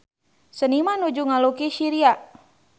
Seniman nuju ngalukis Syria